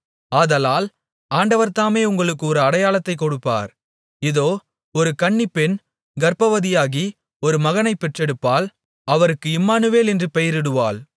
ஆதலால் ஆண்டவர் தாமே உங்களுக்கு ஒரு அடையாளத்தைக் கொடுப்பார் இதோ ஒரு கன்னிப்பெண் கர்ப்பவதியாகி ஒரு மகனைப் பெற்றெடுப்பாள் அவருக்கு இம்மானுவேல் என்று பெயரிடுவாள்